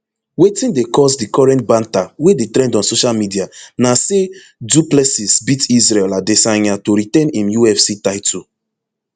wetin dey cause di current banter wey dey trend on social media na say du plessis beat isreal adesanya to retain im ufc title